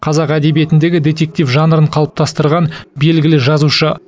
қазақ әдебиетіндегі детектив жанрын қалыптастырған белгілі жазушы